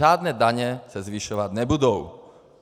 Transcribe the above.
Žádné daně se zvyšovat nebudou.